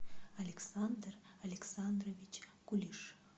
александр александрович кулиш